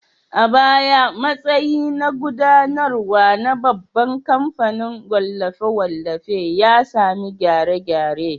A baya, matsayi na gudanarwa na babban kamfanin wallafe-wallafen ya sami gyare-gyare.